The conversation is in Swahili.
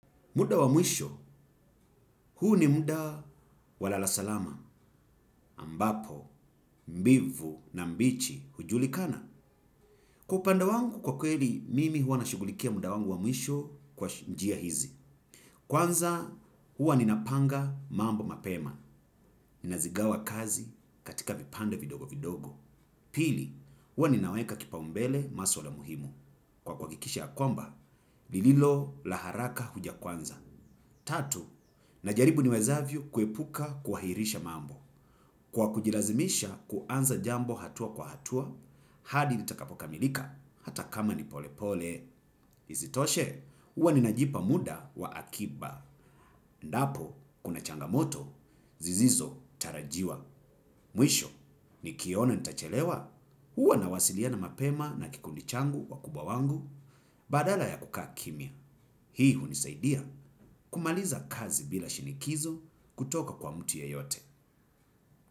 Muda wa mwisho huu ni muda wa lala salama ambapo mbivu na mbichi hujulikana. Kwa upanda wangu kwa kweli mimi huwa nashughulikia muda wangu wa mwisho kwa njia hizi. Kwanza, huwa ninapanga mambo mapema. Ninazigawa kazi katika vipanda vidogo vidogo. Pili, huwa ninaweka kipaumbele maswala muhimu. Kwa kuhakikisha ya kwamba lililo la haraka huja kwanza. Tatu, najaribu niwezavyo kuepuka kuhairisha mambo. Kwa kujilazimisha kuanza jambo hatua kwa hatua, hadi litakapo kamilika hata kama ni polepole. Isitoshe, huwa ninajipa muda wa akiba. Ndapo, kuna changamoto, zizizo, tarajiwa. Mwisho, nikiona nitachelewa? Huwa nawasiliana mapema na kikundi changu wakubwa wangu badala ya kukaa kimya. Hii hunisaidia kumaliza kazi bila shinikizo kutoka kwa mtu yeyote.